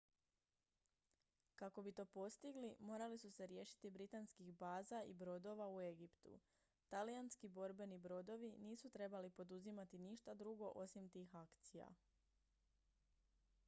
kako bi to postigli morali su se riješiti britanskih baza i brodova u egiptu talijanski borbeni brodovi nisu trebali poduzimati ništa drugo osim tih akcija